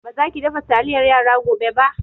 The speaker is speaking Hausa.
Ba za ki dafa taliyar yara gobe ba!